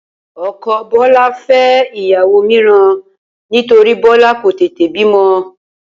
O̩ko̩ Bó̩lá fé̩ ìyàwó mìíràn nítorí Bó̩lá kò tètè bímo